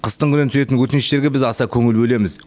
қыстыгүні түсетін өтініштерге аса көп көңіл бөлеміз